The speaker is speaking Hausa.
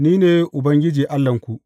Ni ne Ubangiji Allahnku.